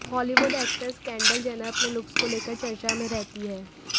Hollywood actress Kendall Jenner अपने looks को लेकर चर्चा में रहती है